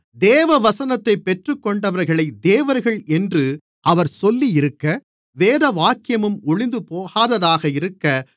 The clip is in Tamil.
தேவவசனத்தைப் பெற்றுக் கொண்டவர்களைத் தேவர்கள் என்று அவர் சொல்லியிருக்க வேதவாக்கியமும் ஒழிந்துபோகாததாக இருக்க